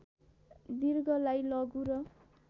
दीर्घलाई लघु र